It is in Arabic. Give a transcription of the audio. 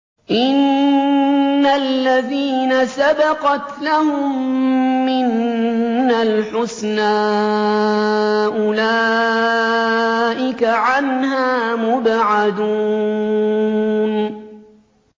إِنَّ الَّذِينَ سَبَقَتْ لَهُم مِّنَّا الْحُسْنَىٰ أُولَٰئِكَ عَنْهَا مُبْعَدُونَ